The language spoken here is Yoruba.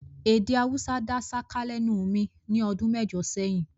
Èdè Haúsá dá ṣáká lẹ́nu mi ní ọdún mẹ́jọ sẹ́yìn